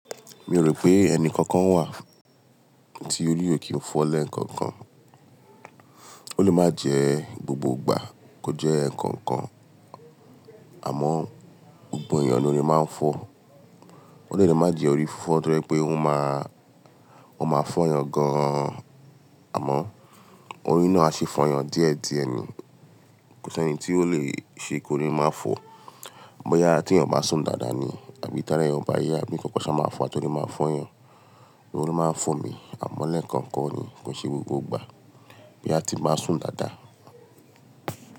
Mi ò rò pé ẹni kankan wà tí orí ò kí n fọ́ lẹ́ẹ̀kọ̀kan. Ó lè má jẹ gbogbo ìgbà kó jẹ́ ẹ̀ẹ̀kọ̀kan, àmọ́ gbogbo èyàn lorí má ń fọ́. Ó dẹ̀ le má jẹ́ orí fífọ́ tó jẹ́ pé ó máa, ó máa fọ́ yàn gan-an, àmọ́ orí náà á sì fọ̀yan díẹ̀díẹ̀ ni. Kò sí ẹni tí ó lè ṣe kórí máa fọ́. Bóyâ tí èyàn ò bá sùn dáadáa ni àbí tára èyàn ò bá yá àbí nnkan kan, ó máa fàá torí máa fọ́ yàn. Orí máa ń fọ mi àmọ́ lẹ́ẹ̀kọ̀kan ni kò n se gbogbo ìgbà bóya ti n bá sùn dáadáa.